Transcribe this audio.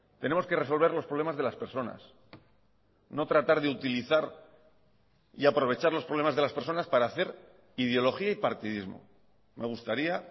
tenemos que resolver los problemas de las personas no tratar de utilizar y aprovechar los problemas de las personas para hacer ideología y partidismo me gustaría